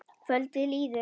Kvöldið líður.